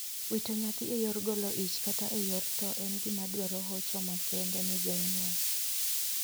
Wito nyathi e yor golo ich kata e yor thoo en gima dwaro hocho makende ne jonyuol.